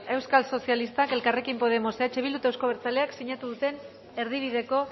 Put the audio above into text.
euskal sozialistak elkarrekin podemos eh bilduk eta euzko abertzaleak sinatu duten erdibideko